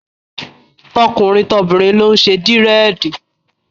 Tọkùnrin, obìnrin ló ń ṣe Dírẹ̀dì.